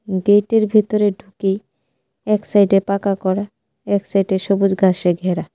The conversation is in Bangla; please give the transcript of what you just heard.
গেটে র ভেতরে ঢুকেই এক সাইডে পাকা করা এক সাইডে সবুজ ঘাসে ঘেরা।